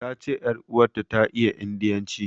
Ta ce ƴar uwarta ta iya indiyanci.